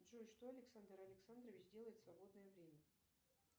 джой что александр александрович делает в свободное время